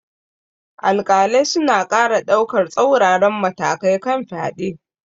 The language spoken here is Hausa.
Alƙalai suna ƙara daukar tsauraran matakai kan fyade.